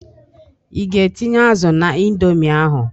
Ị ga-etịnye azụ na Indomi ahụ?